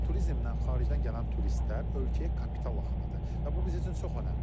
Turizmlə xaricdən gələn turistlər ölkəyə kapital axınıdır və bu bizim üçün çox önəmlidir.